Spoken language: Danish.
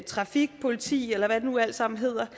trafikpolitiet eller hvad det nu alt sammen hedder